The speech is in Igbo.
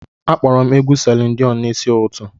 Akpọrọ m egwu Selin Diọn n'isi ụtụtụ.